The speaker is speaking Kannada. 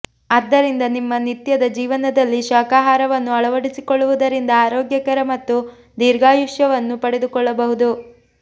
ಆದ್ದರಿಂದ ನಿಮ್ಮ ನಿತ್ಯದ ಜೀವನದಲ್ಲಿ ಶಾಕಾಹಾರವನ್ನು ಅಳವಡಿಸಿಕೊಳ್ಳುವುದರಿಂದ ಆರೋಗ್ಯಕರ ಮತ್ತು ದೀರ್ಘಾಯುಷ್ಯವನ್ನು ಪಡೆದುಕೊಳ್ಳಬಹುದು